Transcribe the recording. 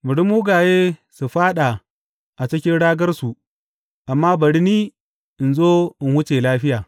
Bari mugaye su fāɗa a cikin ragarsu, amma bari ni in zo in wuce lafiya.